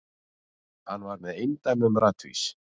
Hann var með eindæmum ratvís.